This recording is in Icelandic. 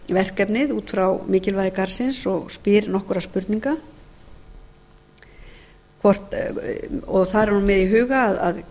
verkefnið út frá mikilvægi garðsins og spyr nokkurra spurninga og þar er hún með í huga að